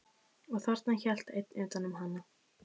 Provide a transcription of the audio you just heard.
Og þarna hélt einn utan um hana.